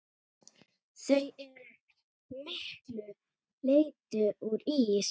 Þau eru að miklu leyti úr ís.